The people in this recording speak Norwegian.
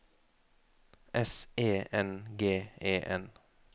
S E N G E N